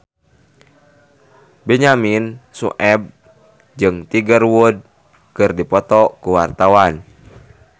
Benyamin Sueb jeung Tiger Wood keur dipoto ku wartawan